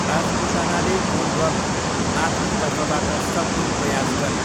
राजपुतानाले goal गर्न आफ्नो तर्फबाट सक्दो प्रयास गरे।